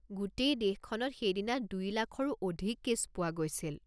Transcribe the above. গোটেই দেশখনত সেইদিনা দুই লাখৰো অধিক কে'ছ পোৱা গৈছিল।